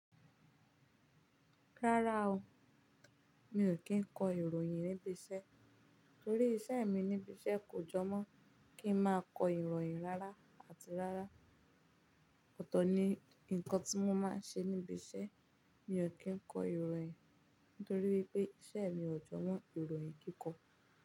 Rárá o, mi ò kí ń kọ ìròyìn níbi iṣẹ́ torí iṣẹ́ mi níbi iṣẹ́ kò jọ mọ́ kí ń máa kọ ìròyìn rárá, àti rárá, ọ̀tọ̀ ni nǹkan tí mo máa ń ṣe níbi iṣẹ́. Mi ò kí ń kọ ìròyìn nítorí wípé iṣẹ́ mi ò jọ mọ ìròyìn kíkọ.